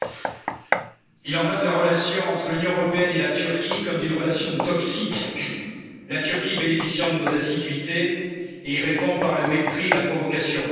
Madame la Présidente, il en va de la relation entre l'Union européenne et la Turquie comme d'une relation toxique la Turquie bénéficie de nos assiduités et y répond par le mépris et la provocation.